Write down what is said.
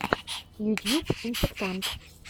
ютьюб инфектант